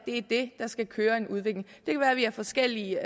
er det der skal drive en udvikling det kan være vi har forskellige